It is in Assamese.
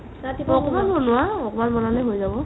অকমাণ বনোৱা অকমাণ বনালে হয় যাব